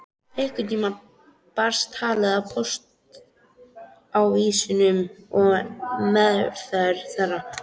Einhvern tíma barst talið að póstávísunum og meðferð þeirra.